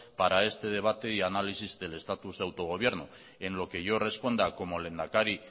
para este debate y análisis del estatus de autogobierno en lo que yo responda como lehendakari